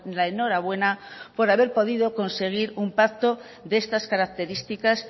la enhorabuena por haber podido conseguir un pacto de estas características